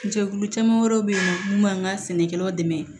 Jɛkulu caman wɛrɛ bɛ yen mun b'an ka sɛnɛkɛlaw dɛmɛ